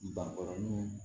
Bankɔrɔnin